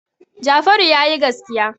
Jafaru ya yi gaskiya.